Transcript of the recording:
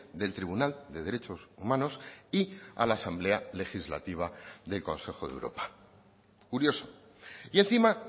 del tribunal de derechos humanos y a la asamblea legislativa del consejo de europa curioso y encima